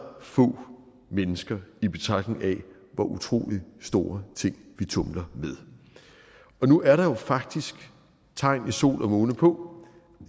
få mennesker i betragtning af hvor utrolig store ting vi tumler med nu er der jo faktisk tegn i sol og måne på